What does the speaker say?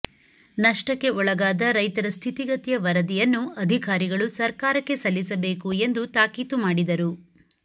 ನಷ್ಟಕ್ಕೆ ಒಳಗಾದ ರೈತರ ಸ್ಥಿತಿಗತಿಯ ವರದಿಯನ್ನು ಅಧಿಕಾರಿಗಳು ಸರ್ಕಾರಕ್ಕೆ ಸಲ್ಲಿಸಬೇಕು ಎಂದು ತಾಕೀತು ಮಾಡಿದರು